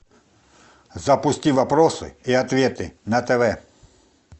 запусти вопросы и ответы на тв